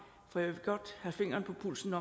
jeg vil godt have fingeren på pulsen